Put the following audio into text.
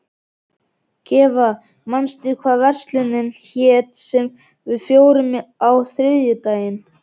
Gæfa, manstu hvað verslunin hét sem við fórum í á þriðjudaginn?